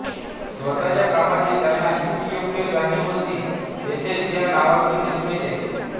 स्वतःच्या कामाची त्यांना किती योग्य जाणीव होती हेतेच या नावातून दिसून येते